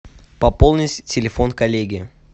пополнить телефон коллеги